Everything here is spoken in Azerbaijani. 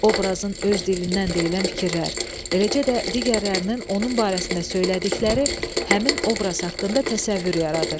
Obrazın öz dilindən deyilən fikirlər, eləcə də digərlərinin onun barəsində söylədikləri həmin obraz haqqında təsəvvür yaradır.